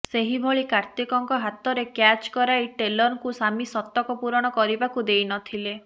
ସେହିଭଳି କାର୍ତିକଙ୍କ ହାତରେ କ୍ୟାଚ୍ କରାଇ ଟେଲରଙ୍କୁ ସାମି ଶତକ ପୂରଣ କରିବାକୁ ଦେଇ ନଥିଲେ